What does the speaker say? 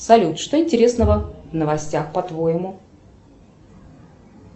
салют что интересного в новостях по твоему